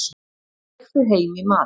Ég fer heim í mat.